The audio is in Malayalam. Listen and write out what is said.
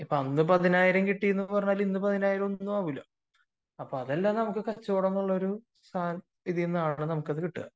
അന്ന് പതിനായിരം കിട്ടിയെന്നു പറഞ്ഞു ഇന്ന് പതിനായിരം ഒന്നും അല്ല അപ്പൊ അതൊക്കെ നമ്മക്ക് കച്ചവടം പോലത്തെ സാധനത്തിൽ നിന്നാണ് കിട്ടുക